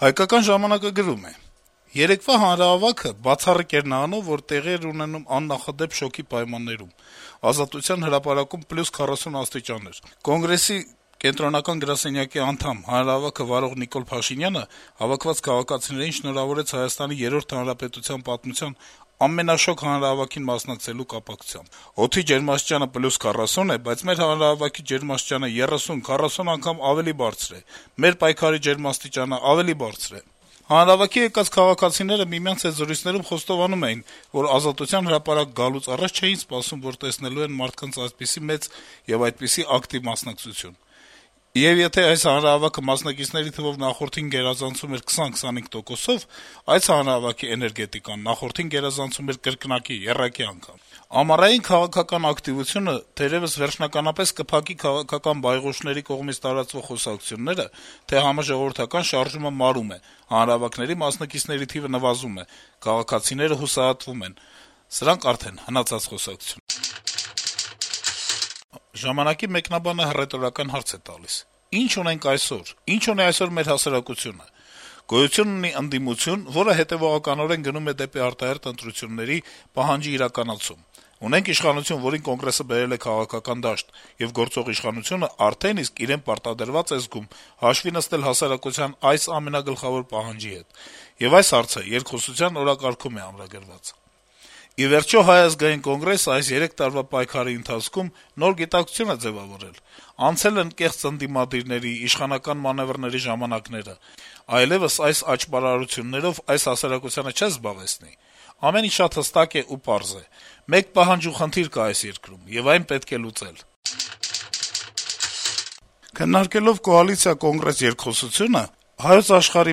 «Հայկական ժամանակ»-ը գրում է. - «Երեկվա հանրահավաքը բացառիկ էր նրանով, որ տեղի էր ունենում աննախադեպ շոգի պայմաններում: Ազատության հրապարակում +40 աստիճան էր: Կոնգրեսի կենտրոնական գրասենյակի անդամ, հանրահավաքը վարող Նիկոլ Փաշինյանը հավաքված քաղաքացիներին շնորհավորեց Հայաստանի երրորդ հանրապետության պատմության ամենաշոգ հանրահավաքին մասնակցելու կապակցությամբ. «Օդի ջերմաստիճանը +40 է, բայց մեր հանրահավաքի ջերմաստիճանը 30, 40 անգամ ավելի բարձր է, մեր պայքարի ջերմաստիճանը ավելի բարձր է»: Հանրահավաքի եկած քաղաքացիները միմյանց հետ զրույցներում խոստովանում էին, որ Ազատության հրապարակ գալուց առաջ չէին սպասում, որ տեսնելու են մարդկանց այդպիսի մեծ եւ այդպիսի ակտիվ մասնակցություն: Եվ եթե այս հանրահավաքը մասնակիցների թվով նախորդին գերազանցում էր 20-25 տոկոսով, այս հանրահավաքի էներգետիկան նախորդին գերազանցում էր կրկնակի, եռակի անգամ: Ամառային քաղաքական ակտիվությունը թերեւս վերջնականապես կփակի քաղաքական բայղուշների կողմից տարածվող խոսակցությունները, թե Համաժողովրդական շարժումը մարում է, հանրահավաքների մասնակիցների թիվը նվազում է, քաղաքացիները հուսահատվում են: Սրանք արդեն հնացած խոսակցություններ են»: «Ժամանակ»-ի մեկնաբանը հռետորական հարց է տալիս. - «Ի՞նչ ունենք այսօր, ի՞նչ ունի այսօր մեր հասարակությունը… Գոյություն ունի ընդդիմություն, որը հետեւողականորեն գնում է դեպի արտահերթ ընտրությունների պահանջի իրականացում: Ունենք իշխանություն, որին Կոնգրեսը բերել է քաղաքական դաշտ, եւ գործող իշխանությունը արդեն իսկ իրեն պարտադրված է զգում հաշվի նստել հասարակության այս ամենագլխավոր պահանջի հետ, եւ այս հարցը երկխոսության օրակարգում է ամրագրված: Ի վերջո, Հայ ազգային կոնգրեսը այս երեք տարվա պայքարի ընթացքում նոր գիտակցություն է ձեւավորել, անցել են կեղծ ընդդիմադիրների, իշխանական մանեւրների ժամանակները… Այլեւս այս աճարարություններով այս հասարակությանը չես զբաղեցնի: Ամեն ինչ շատ հստակ է ու պարզ` մեկ պահանջ ու խնդիր կա այս երկրում, եւ այն պետք է լուծել»: Քննարկելով կոալիցիա - Կոնգրես երկխոսությունը` «Հայոց Աշխարհ»-ի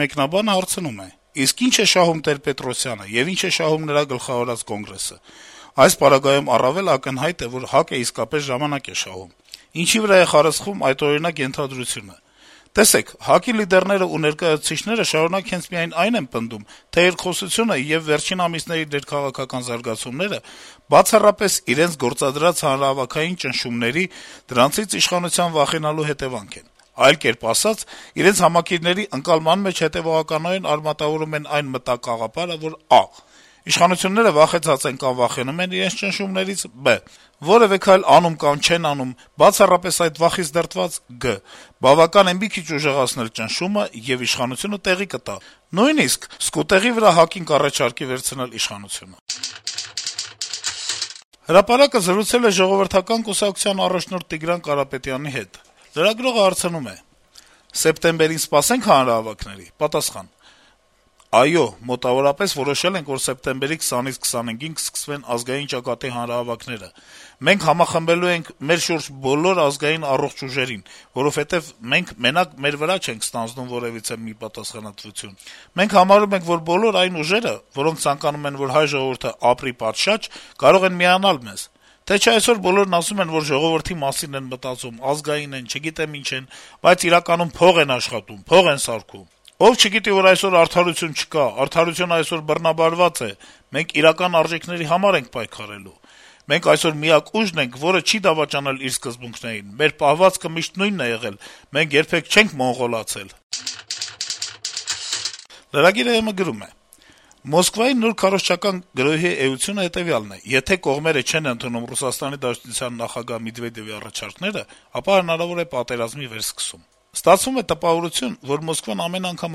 մեկնաբանը հարցնում է. - «Իսկ ի՞նչ է շահում Տեր-Պետրոսյանը, եւ ի՞նչ է շահում նրա գլխավորած Կոնգրեսը: Այս պարագայում առավել ակնհայտ է, որ ՀԱԿ-ը իսկապես ժամանակ է շահում: Ինչի՞ վրա է խարսխվում այդօրինակ ենթադրությունը: Տեսեք, ՀԱԿ-ի լիդերները ու ներկայացուցիչները շարունակ հենց միայն այն են պնդում, թե երկխոսությունը եւ վերջին ամիսների ներքաղաքական զարգացումները բացառապես իրենց գործադրած հանրահավաքային ճնշումների, դրանցից իշխանության վախենալու հետեւանքն են: Այլ կերպ ասած, իրենց համակիրների ընկալման մեջ հետեւողականորեն ամրագրում են այն մտակաղապարը, որ` ա) իշխանությունները վախեցած են կամ վախենում են իրենց ճնշումներից, բ) որեւէ քայլ անում կամ չեն անում բացառապես այդ վախից դրդված, գ) բավական է մի քիչ ուժեղացնել ճնշումը, եւ իշխանությունը տեղի կտա, նույնիսկ «սկուտեղի վրա» ՀԱԿ-ին կառաջարկի վերցնել իշխանությունը»: «Հրապարակ»-ը զրուցել է Ժողովրդական կուսակցության նախագահ Տիգրան Կարապետյանի հետ: Լրագրողը հարցնում է. - «Սեպտեմբերին սպասե՞նք հանրահավաքների»: Պատասխան. - «Այո, մոտավորապես որոշել ենք, որ սեպտեմբերի 20-25-ին կսկսվեն «Ազգային ճակատի» հանրահավաքները: Մենք համախմբելու ենք մեր շուրջը բոլոր ազգային առողջ ուժերին, որովհետեւ մենք մենակ մեր վրա չենք ստանձնում որեւիցե մի պատասխանատվություն: Մենք համարում ենք, որ բոլոր այն ուժերը, որոնք ցանկանում են, որ հայ ժողովուրդը ապրի պատշաճ, կարող են միանալ մեզ: Թե չէ այսօր բոլորն ասում են, որ ժողովրդի մասին են մտածում, ազգային են, չգիտեմ ինչ են: Բայց իրականում փող են աշխատում, փող են սարքում: Ով չգիտի, որ այսօր արդարություն չկա: Արդարությունը այսօր բռնաբարված է: Մենք իրական արժեքների համար ենք պայքարելու: Մենք այսօր միակ ուժն ենք, որը չի դավաճանելու իր սկզբունքներին: Մեր պահվածքը միշտ նույնն է եղել, մենք երբեք չենք մոնղոլացել»: Lragir.am-ը գրում է. - «Մոսկվայի նոր քարոզչական գրոհի էությունը հետեւյալն է` եթե կողմերը չեն ընդունում ՌԴ նախագահ Մեդվեդեւի առաջարկները, ապա հնարավոր է պատերազմի վերսկսում: Ստացվում է տպավորություն, որ Մոսկվան ամեն անգամ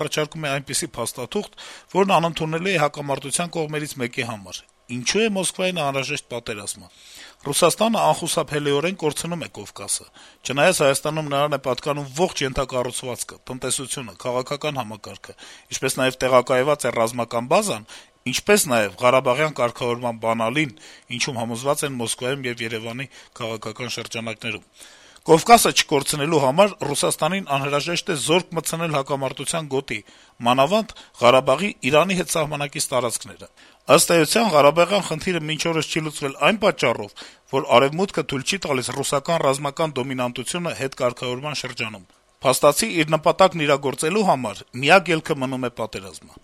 առաջարկում է այնպիսի փաստաթուղթ, որն անընդունելի է հակամարտության կողմերից մեկի համար: Ինչու է Մոսկվային անհրաժեշտ պատերազմը: Ռուսաստանը անխուսափելիորեն կորցնում է Կովկասը, չնայած Հայաստանում նրան է պատկանում ողջ ենթակառուցվածքը, տնտեսությունը, քաղաքական համակարգը, ինչպես նաեւ տեղակայված է ռազմական բազան, ինչպես նաեւ` Ղարաբաղյան կարգավորման «բանալին», ինչում համոզված են Մոսկվայում եւ Երեւանի քաղաքական շրջանակներում: Կովկասը չկորցնելու համար Ռուսաստանին անհրաժեշտ է զորք մտցնել հակամարտության գոտի, մանավանդ Ղարաբաղի` Իրանի հետ սահմանակից տարածքները: Ըստ էության, Ղարաբաղյան խնդիրը մինչ օրս չի լուծվել նաեւ այն պատճառով, որ Արեւմուտքը թույլ չի տալիս ռուսական ռազմական դոմինանտությունը հետկարգավորման շրջանում: Փաստացի, իր նպատակն իրագործելու համար միակ ելքը մնում է պատերազմը»: